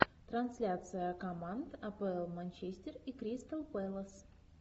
трансляция команд апл манчестер и кристал пэлас